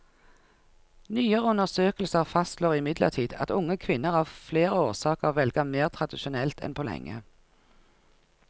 Nyere undersøkelser fastslår imidlertid at unge kvinner av flere årsaker velger mer tradisjonelt enn på lenge.